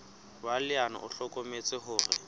wa leano o hlokometse hore